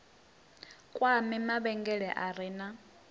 kwame mavhengele a re na